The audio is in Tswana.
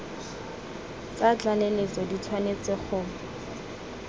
tsa tlaleletso di tshwanetse go